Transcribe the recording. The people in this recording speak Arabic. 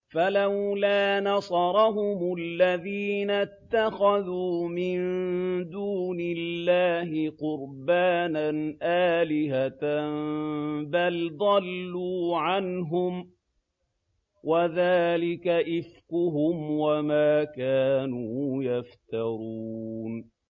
فَلَوْلَا نَصَرَهُمُ الَّذِينَ اتَّخَذُوا مِن دُونِ اللَّهِ قُرْبَانًا آلِهَةً ۖ بَلْ ضَلُّوا عَنْهُمْ ۚ وَذَٰلِكَ إِفْكُهُمْ وَمَا كَانُوا يَفْتَرُونَ